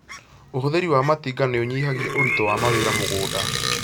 Ũhũthĩri wa matinga nĩ ũnyihagia ũritũ wa mawĩra mũgũnda